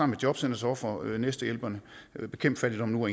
med jobcentrets ofre næstehjælperne bekæmp fattigdom nu og